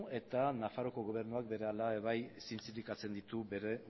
eta nafarroako gobernuak berehala ere bai zintzilikatzen ditu bere